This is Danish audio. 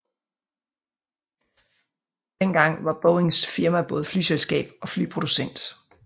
Dengang var Boeings firma både flyselskab og flyproducent